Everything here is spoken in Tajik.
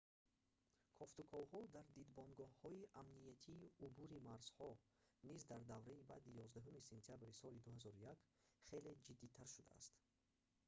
кофтуковҳо дар дидбонгоҳҳои амниятии убури марзҳо низ дар давраи баъди 11 сентябри соли 2001 хеле ҷиддитар шудааст